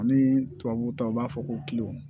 Ani tubabu ta u b'a fɔ ko